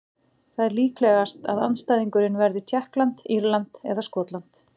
Það er líklegast að andstæðingurinn verði Tékkland, Írland eða Skotland.